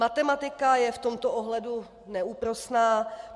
Matematika je v tomto ohledu neúprosná.